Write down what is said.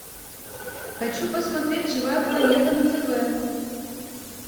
хочу посмотреть живая планета на тв